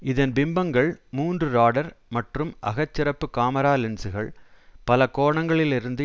இதன் பிம்பங்கள் மூன்று ராடர் மற்றும் அகச் சிகப்பு காமெரா லென்சுகள் பல கோணங்களில் இருந்து